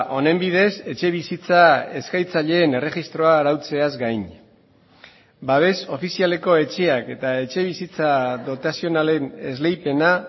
honen bidez etxebizitza eskatzaileen erregistroa arautzeaz gain babes ofizialeko etxeak eta etxebizitza dotazionalen esleipena